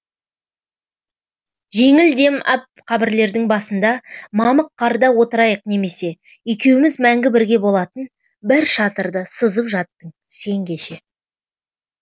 жеңіл дем ап қабірлердің басында мамық қарда отырайық немесе екеуіміз мәңгі бірге болатын бір шатырды сызып жаттың сен кеше